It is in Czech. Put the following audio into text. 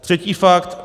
Třetí fakt.